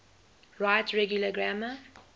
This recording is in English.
right regular grammar